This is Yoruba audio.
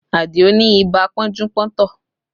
Adio ni ibà pọ́njú-pọ́ntọ̀